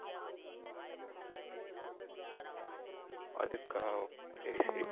அதுக்கா சரி சரி